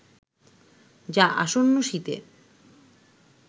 যা আসন্ন শীতে